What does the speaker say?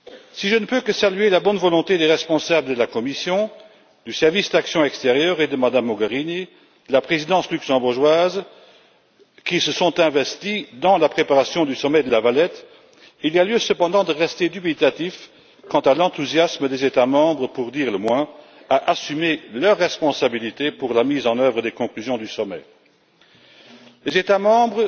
Si je ne peux que saluer la bonne volonté des responsables de la Commission, du Service européen pour l'action extérieure, de Mme Mogherini et de la présidence luxembourgeoise, qui se sont investis dans la préparation du sommet de La Valette, il y a lieu cependant de rester dubitatif quant à l'enthousiasme des États membres, pour dire le moins, à assumer leurs responsabilités dans la mise en œuvre des conclusions du sommet. Les États membres,